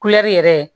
yɛrɛ